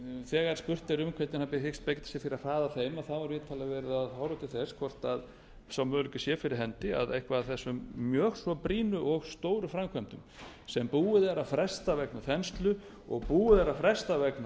þegar spurt er um hvernig hann hyggist beita sér fyrir að hraða þeim þá er vitanlega verið að horfa til þess að sá möguleiki sé fyrir hendi að eitthvað af þessum mjög svo brýnu og stóru framkvæmdum sem búið er að fresta vegna þenslu og búið er að fresta vegna